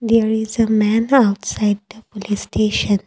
there is a man outside the police station.